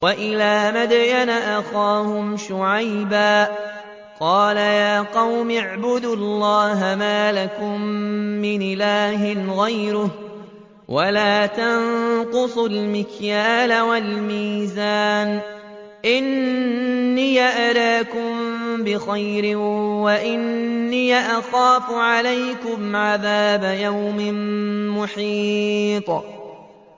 ۞ وَإِلَىٰ مَدْيَنَ أَخَاهُمْ شُعَيْبًا ۚ قَالَ يَا قَوْمِ اعْبُدُوا اللَّهَ مَا لَكُم مِّنْ إِلَٰهٍ غَيْرُهُ ۖ وَلَا تَنقُصُوا الْمِكْيَالَ وَالْمِيزَانَ ۚ إِنِّي أَرَاكُم بِخَيْرٍ وَإِنِّي أَخَافُ عَلَيْكُمْ عَذَابَ يَوْمٍ مُّحِيطٍ